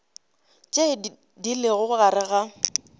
tše di lego gare ga